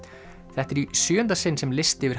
þetta er í sjöunda sinn sem listi yfir